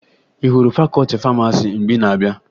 Ị hụrụ fakọọti famasi mgbe ị na-abịa?